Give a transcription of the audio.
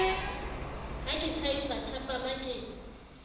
ha ke tjhaisa thapama ke